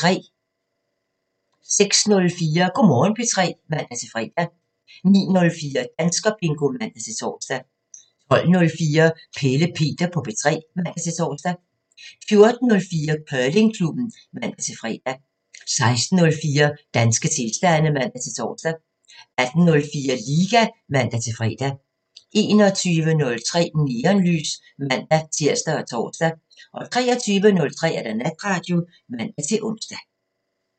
06:04: Go' Morgen P3 (man-fre) 09:04: Danskerbingo (man-tor) 12:04: Pelle Peter på P3 (man-tor) 14:04: Curlingklubben (man-fre) 16:04: Danske tilstande (man-tor) 18:04: Liga (man-fre) 21:03: Neonlys (man-tir og tor) 23:03: Natradio (man-ons)